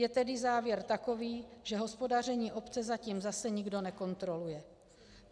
Je tedy závěr takový, že hospodaření obce zatím zase nikdo nekontroluje.